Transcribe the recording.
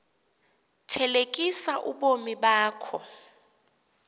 thelekisa ubomi bakho